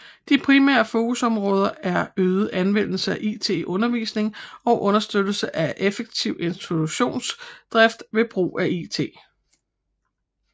De primære fokusområder er øget anvendelse af it i undervisningen og understøttelse af effektiv institutionsdrift ved brug af it